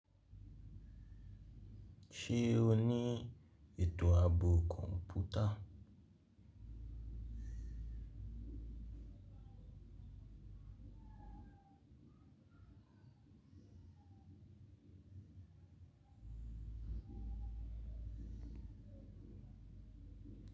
Ṣé o ní ètò ààbò kọ̀ǹpútà?